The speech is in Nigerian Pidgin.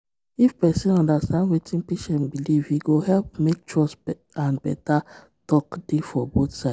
if person understand wetin patient believe e go help make trust and better talk dey for both side.